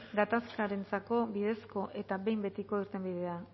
gatazkarentzako bidezko eta behin betiko irtenbidea